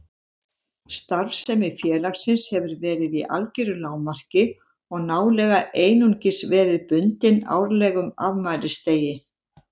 Starfsemi félagsins hefur verið í algeru lágmarki og nálega einungis verið bundin árlegum afmælisdegi